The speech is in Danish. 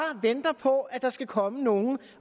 venter på at der skal komme nogen